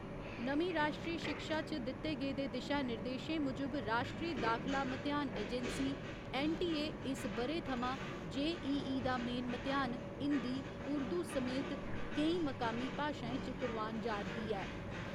नमीं राश्ट्री शिक्षा च दिते गेदे दिशा निर्देशें मुजब राश्ट्रीय दाखला म्तेहान एजेंसी ऐन्न.टी.ए., इस ब'रे थमां जे.ई.ई. दा मेन म्तेहान हिन्दी उर्दू समेत केईं मकामी भाशाएं च करोआन जा'रदी ऐ।